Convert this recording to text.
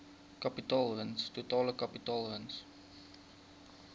kapitaalwins totale kapitaalwins